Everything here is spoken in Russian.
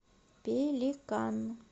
пеликан